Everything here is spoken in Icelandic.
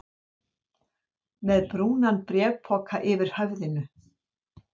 Með brúnan bréfpoka yfir höfðinu?